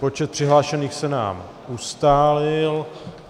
Počet přihlášených se nám ustálil.